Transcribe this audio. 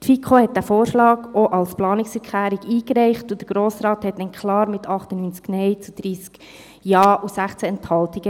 Die FiKo reichte den Vorschlag auch als Planungserklärung ein, und der Grosse Rat sagte klar Nein mit 98 Nein- zu 30 Ja-Stimmen und 16 Enthaltungen.